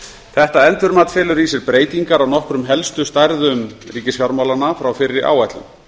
þetta endurmat felur í sér breytingar á nokkrum helstu stærðum ríkisfjármálanna frá fyrri áætlun